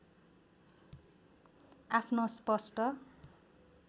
आफ्नो स्पष्ट